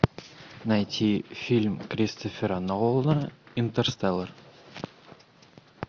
найти фильм кристофера нолана интерстеллар